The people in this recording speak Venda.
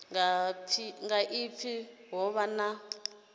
nga pfi ho vha na